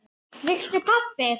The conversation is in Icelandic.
Viltu kaffi?